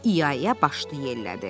İa-ia başını yellədi.